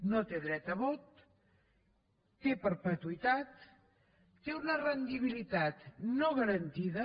no té dret a vot té perpetuïtat i té una rendibilitat no garantida